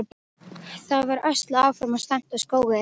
Það var öslað áfram og stefnt á Skógey.